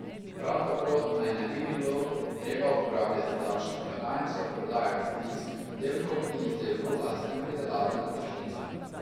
Prav tako naj ne bi bilo treba uporabljati davčnih blagajn za prodajo kmetijskih pridelkov in izdelkov lastne pridelave na tržnicah.